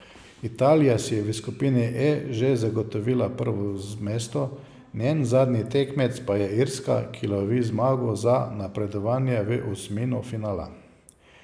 Italija si je v skupini E že zagotovila prvo mesto, njen zadnji tekmec pa je Irska, ki lovi zmago za napredovanje v osmino finala.